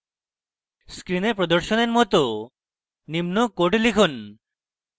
screen প্রদর্শনের মত নিম্ন code লিখুন